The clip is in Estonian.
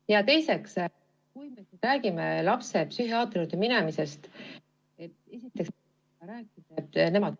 Ja teiseks, kui me räägime lapse psühhiaatri juurde minemisest, siis esiteks me ei saa rääkida, et nemad ...